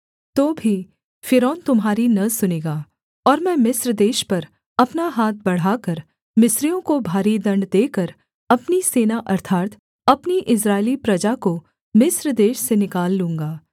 तो भी फ़िरौन तुम्हारी न सुनेगा और मैं मिस्र देश पर अपना हाथ बढ़ाकर मिस्रियों को भारी दण्ड देकर अपनी सेना अर्थात् अपनी इस्राएली प्रजा को मिस्र देश से निकाल लूँगा